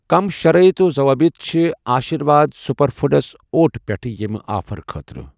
کٔمۍ شرائط و ضوابط چھِ آشِرواد سُپر فوٗڈس اوٹ پٮ۪ٹھ ییٚمہِ آفر خٲطرٕ؟